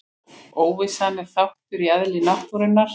Óvissan er þáttur í eðli náttúrunnar.